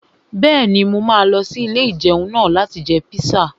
Bẹ́ẹ̀ni, mo máa lọ sí ilé-ìjẹun náà láti jẹ píṣà